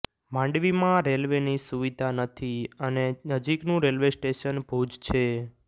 માંડવીમાં રેલ્વેની સુવિધા નથી અને નજીકનું રેલ્વે સ્ટેશન ભુજ છે